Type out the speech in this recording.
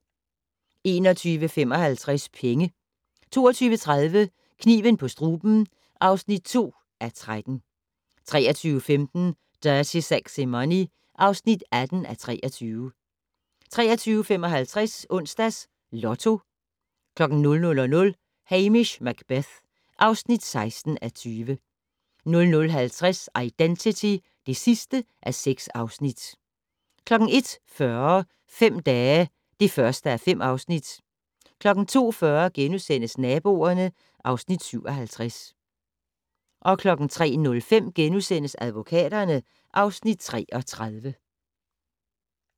21:55: Penge 22:30: Kniven på struben (2:13) 23:15: Dirty Sexy Money (18:23) 23:55: Onsdags Lotto 00:00: Hamish Macbeth (16:20) 00:50: Identity (6:6) 01:40: Fem dage (1:5) 02:40: Naboerne (Afs. 57)* 03:05: Advokaterne (Afs. 33)*